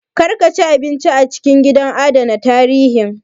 Kar ka ci abinci a cikin gidan adana tarihin